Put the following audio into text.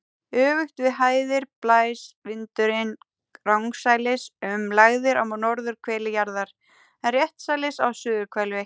Öfugt við hæðir blæs vindurinn rangsælis um lægðir á norðurhveli jarðar en réttsælis á suðurhveli.